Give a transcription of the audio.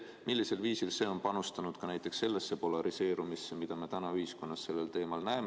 Millisel viisil see on panustanud ka sellesse polariseerumisse, mida me täna ühiskonnas selles küsimuses näeme?